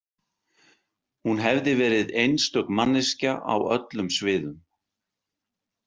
Hún hefði verið „einstök manneskja á öllum sviðum“.